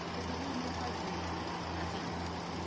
Você deveria fazer assim.